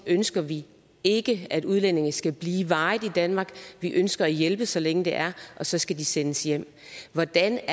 ønsker vi ikke at udlændinge skal blive varigt i danmark vi ønsker at hjælpe så længe det er og så skal de sendes hjem hvordan